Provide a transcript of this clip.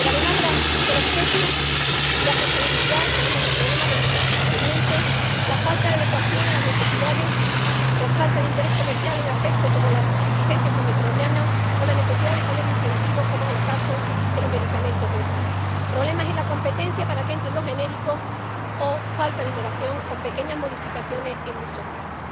Pero, además de los precios y la sostenibilidad, tenemos los problemas del desabastecimiento, la falta de adecuación a las necesidades por falta de interés comercial —en aspectos como la resistencia antimicrobiana— o la necesidad de poner incentivos —como es el caso de los medicamentos huérfanos—, problemas en la competencia para que entren los genéricos o falta de innovación con pequeñas modificaciones en muchos casos.